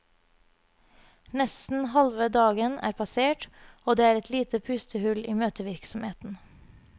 Nesten halve dagen er passert, og det er et lite pustehull i møtevirksomheten.